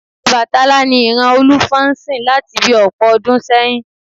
Ọbàtálá ni ìran Olúfọ́n ń sìn láti bi ọ̀pọ̀ ọdún sẹ́yìn